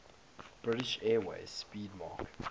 british airways 'speedmarque